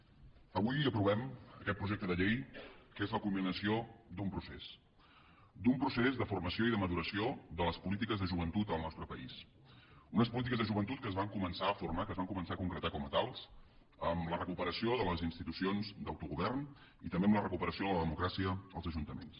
avui aprovem aquest projecte de llei que és la culminació d’un procés d’un procés de formació i de maduració de les polítiques de joventut al nostre país unes polítiques de joventut que es van començar a formar que es van començar a concretar com a tals amb la recuperació de les institucions d’autogovern i també amb la recuperació de la democràcia als ajuntaments